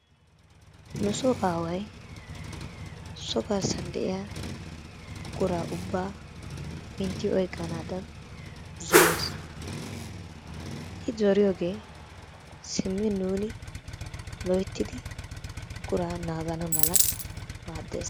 Nusoo aaway so garssan de'iya buquraa ubbaa mintti oyqqanaadan zorees, I zoriyoogee simmi nuuni loyttidi buquraa naagana mala maaddees.